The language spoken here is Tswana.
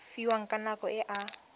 fiwang ka nako e a